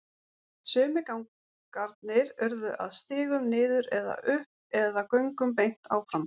Sumir gangarnir urðu að stigum niður eða upp eða göngum beint áfram.